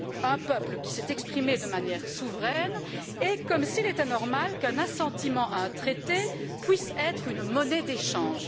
un peuple qui s'est exprimé de manière souveraine, et comme s'il était normal qu'un assentiment à un traité puisse être une monnaie d'échange.